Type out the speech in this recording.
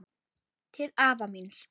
Til afa míns.